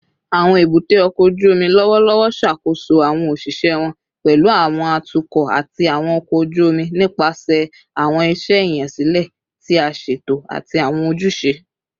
Awọn ebute oko oju omi lọwọlọwọ ṣakoso awọn oṣiṣẹ wọn, pẹlu awọn atukọ ati awọn ọkọ oju omi, nipasẹ awọn iṣẹ iyansilẹ ti a ṣeto ati awọn ojuse